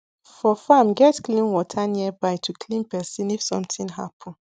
for farm get clean water nearby to clean person if something happen